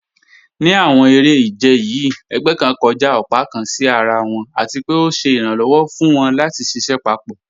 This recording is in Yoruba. Ní àwọn èrè-ìjẹ̀ yìí, ègbẹ̀ kàn kọ́jà ọ̀pá kàn sí àrà wọn, àti pé ọ̀ sẹ̀ iràǹlọ́wọ̀ fún wọn lati ṣiṣẹ papọ.